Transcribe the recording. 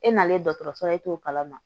E nalen dɔgɔtɔrɔso la e t'o kalama